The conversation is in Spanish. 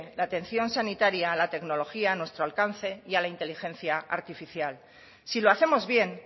la atención sanitaria a la tecnología a nuestro alcance y a la inteligencia artificial si lo hacemos bien